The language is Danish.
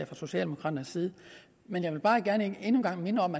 fra socialdemokraternes side men jeg vil bare gerne endnu en gang minde om